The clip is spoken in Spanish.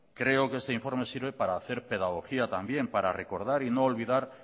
creo que este informe sirve para hacer pedagogía también para recordar y no olvidar